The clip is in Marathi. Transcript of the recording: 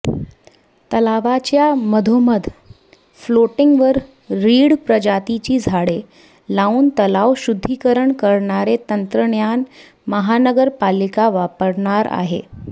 तलावाच्या मधोमध फ्लोटींगवर रीड प्रजातीची झाडे लावून तलाव शुध्दीकरण करणारे तंत्रज्ञान महानगरपालिका वापरणार आहे